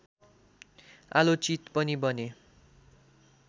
आलोचित पनि बने